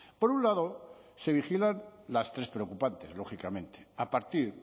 por un lado se vigilan las tres preocupantes lógicamente a partir